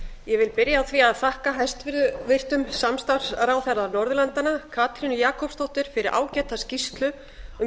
ég vil byrja á því að þakka hæstvirtum samstarfsráðherra norðurlandanna katrínu jakobsdóttur fyrir ágæta skýrslu um